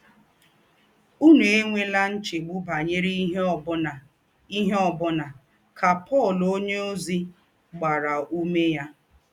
“ Ǔnù ènwèlà nchègbù̄ bányèrè ìhè ọ̀ bụ̀nà, ìhè ọ̀ bụ̀nà, ” kà Pọl ǒnyéòzí gbàrà ǔmé yà.